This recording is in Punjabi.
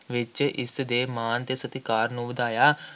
ਵਿੱਚ ਇਸਦੇ ਮਾਣ ਅਤੇ ਸਤਿਕਾਰ ਨੂੰ ਵਧਾਇਆ,